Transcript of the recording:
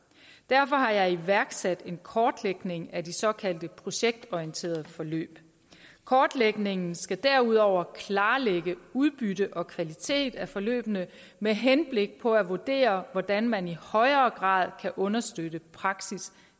derfor har jeg iværksat en kortlægning af de såkaldte projektorienterede forløb kortlægningen skal derudover klarlægge udbytte og kvalitet af forløbene med henblik på at vurdere hvordan man i højere grad kan understøtte praksisnær